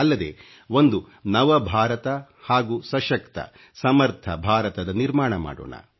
ಅಲ್ಲದೆ ಒಂದು ನವ ಭಾರತ ಹಾಗೂ ಸಶಕ್ತ ಸಮರ್ಥ ಭಾರತದ ನಿರ್ಮಾಣ ಮಾಡೋಣ